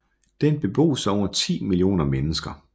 Den bebos af over 10 millioner mennesker